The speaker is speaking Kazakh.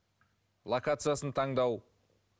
локациясын таңдау